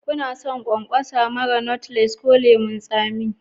Kuna son ƙwanƙwasa marar knotless ko lemun tsami?